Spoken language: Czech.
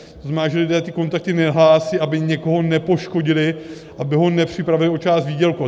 To znamená, že lidé ty kontakty nehlásí, aby někoho nepoškodili, aby ho nepřipravili o část výdělku.